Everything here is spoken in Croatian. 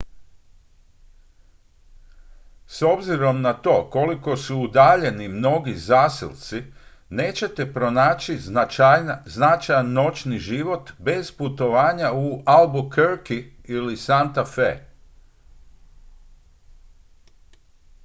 s obzirom na to koliko su udaljeni mnogi zaselci nećete pronaći značajan noćni život bez putovanja u albuquerque ili santa fe